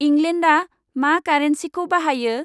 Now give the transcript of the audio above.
इंलेन्डआ मा कारेनसिखौ बाहायो?